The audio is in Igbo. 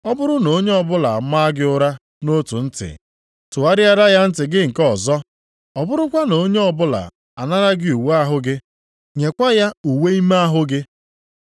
Ọ bụrụ na onye ọbụla a maa gị ụra nʼotu ntị, tụgharịara ya ntị gị nke ọzọ. Ọ bụrụkwa na onye ọbụla anara gị uwe ahụ gị, nyekwa ya uwe ime ahụ gị.